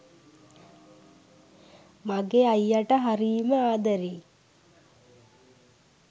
මගෙ අයියට හරීම ආදරෙයි